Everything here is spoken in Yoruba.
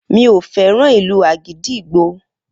Mi o fẹ́ràn ìlù àgídìgbo